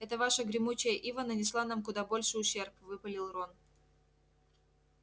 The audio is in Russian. эта ваша гремучая ива нанесла нам куда больший ущерб выпалил рон